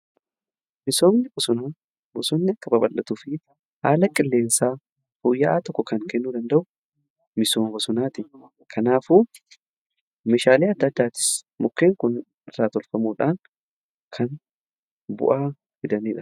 Misoomni bosonaa bosonni akka baballatuu fi haala qilleensaa fooyya'aa tokko kan kennuu danda'u misooma bosonaati. Kanaafuu meeshaalee adda addaatis mukkeen kun irraa tolfamuudhaan kan bu'aa fidanidha.